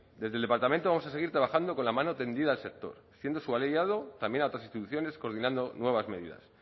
desde el departamento vamos a seguir trabajando con la mano tendida al sector siendo su aliado también a otras instituciones coordinando nuevas medidas